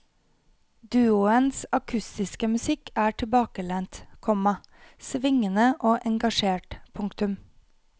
Duoens akustiske musikk er tilbakelent, komma svingende og engasjert. punktum